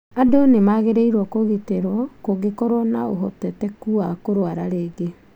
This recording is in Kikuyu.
Andũ nĩmagĩrĩirwo kũgitĩro kũngĩkorwo na ũhoteteku wa kũrwara rĩngĩ.